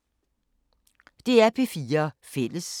DR P4 Fælles